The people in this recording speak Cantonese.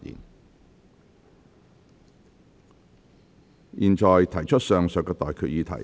我現在向各位提出上述待決議題。